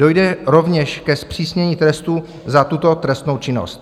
Dojde rovněž ke zpřísnění trestů za tuto trestnou činnost.